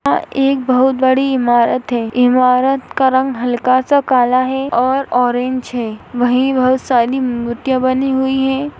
यहाँ एक बहोत बड़ी ईमारत हैं ईमारत का रंग हल्का सा काला हैं और ऑरेंज हैं वही बहोत सारी मुर्तिया बनी हुई हैं।